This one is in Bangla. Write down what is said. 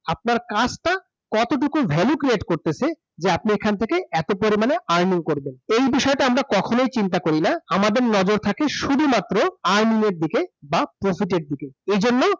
আপনার কাজটা কতটুকু value create করতেসে যে আপনি এখান থেকে এতো পরিমাণে earning করবেন যে বিষয়টা আমরা কখনোই চিন্তা করি না। আমাদের নজর থাকে শুধুমাত্র earning এর দিকে বা profit এর দিকে, এইজন্যই